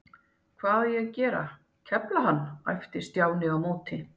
Hvað á ég að gera, kefla hana? æpti Stjáni á móti.